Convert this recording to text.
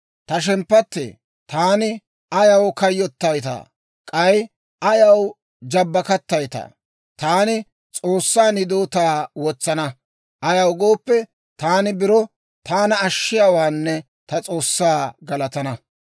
Ta shemppattee, taani ayaw kayyottaytaa? K'ay ayaw jabbakattayttaa? Taani S'oossan hidootaa wotsana. Ayaw gooppe, taani biro taana ashshiyaawaanne ta S'oossaa galatana.